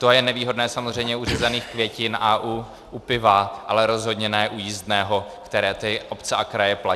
To je nevýhodné samozřejmě u řezaných květin a u piva, ale rozhodně ne u jízdného, které ty obce a kraje platí.